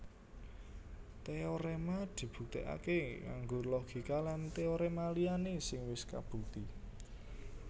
Téoréma dibuktèkaké nganggo logika lan téoréma liyané sing wis kabukti